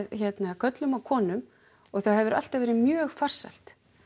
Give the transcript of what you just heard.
körlum og konum og það hefur alltaf verið mjög farsælt